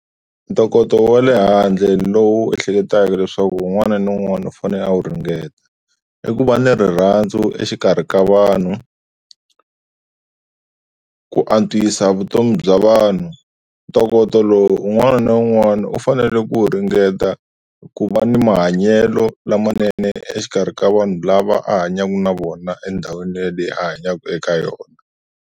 Ntokoto wa le handle lowu ehleketaka leswaku un'wana na un'wana u fanele a wu ringeta i ku va ni rirhandzu exikarhi ka vanhu, ku antswisa vutomi bya vanhu, ntokoto lowu un'wana na un'wana u fanele ku ringeta ku va ni mahanyelo lamanene exikarhi ka vanhu lava a hanyaku na vona endhawini ya leyi a hanyaka eka yona.